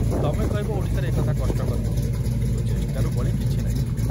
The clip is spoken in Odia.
ତମେ କହିବ ଓଡ଼ିଶାରେ ଏ କଥା କଷ୍ଟକର, କିନ୍ତୁ ଚେଷ୍ଟାରୁ ବଳି କିଛି ନାହିଁ।